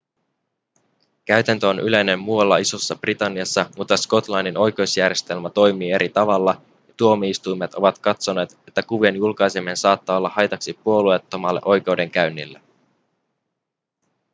käytäntö on yleinen muualla isossa-britanniassa mutta skotlannin oikeusjärjestelmä toimii eri tavalla ja tuomioistuimet ovat katsoneet että kuvien julkaiseminen saattaa olla haitaksi puolueettomalle oikeudenkäynnille